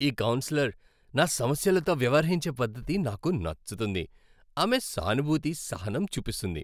ఈ కౌన్సిలర్ నా సమస్యలతో వ్యవహరించే పద్ధతి నాకు నచ్చుతుంది. ఆమె సానుభూతి, సహనం చూపిస్తుంది.